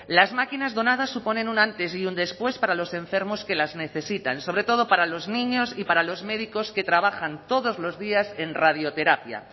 las máquinas donadas suponen un antes y un después para los enfermos que las necesitan sobre todo para los niños y para los médicos que trabajan todos los días en radioterapia